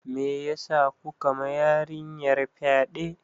Meyasa kuka ma yarinyar fyaɗe?